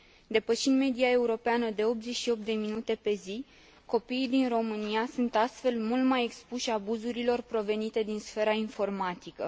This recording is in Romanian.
Depășind media europeană de 88 de minute pe zi, copiii din România sunt astfel mult mai expuși abuzurilor provenite din sfera informatică.